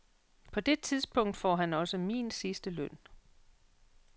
På det tidspunkt får han også min sidste løn.